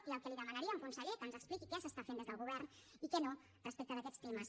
i el que li demanaríem conseller que ens expliqui què s’està fent des del govern i què no respecte d’aquests temes